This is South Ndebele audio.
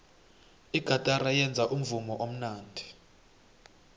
igatara yenza umvumo omnandi